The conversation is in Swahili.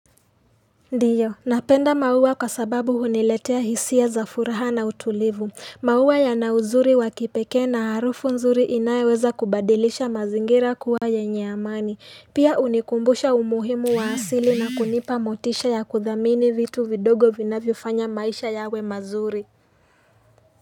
Ndiyo, napenda maua kwa sababu huniletea hisia za furaha na utulivu. Maua yana uzuri wa kipekee na harufu nzuri inayoweza kubadilisha mazingira kuwa yenye amani. Pia hunikumbusha umuhimu wa asili na kunipa motisha ya kuthamini vitu vidogo vinavyo fanya maisha yawe mazuri.